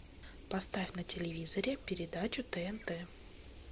поставь на телевизоре передачу тнт